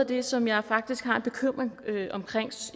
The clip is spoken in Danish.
det som jeg faktisk har en bekymring omkring